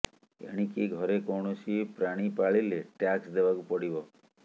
ଏଣିକି ଘରେ କୌଣସି ପ୍ରାଣୀ ପାଳିଲେ ଟ୍ୟାକ୍ସ୍ ଦେବାକୁ ପଡିବ